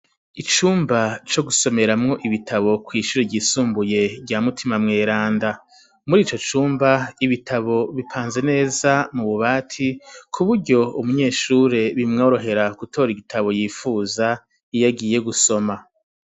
Icumba co gusomeramwo ibitabo kw'ishure ryisumbuye rya Mutima mweranda. Muri ico cumba ibitabo bipanze neza mu bubati, ku buryo umunyeshure bimworohera gutora igitabo yipfuza, iyo agiye gusoma.